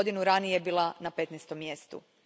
Godinu ranije bila je na petnaestom mjestu.